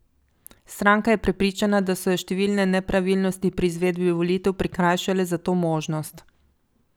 Stranka je prepričana, da so jo številne nepravilnosti pri izvedbi volitev prikrajšale za to možnost.